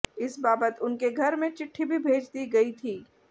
इस बाबत उनके घर में चिट्ठी भी भेज दी गई थी